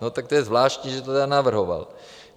- No tak to je zvláštní, že to tedy navrhoval.